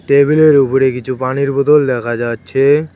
টেবিলের উপরে কিছু পানির বোতল দেখা যাচ্ছে।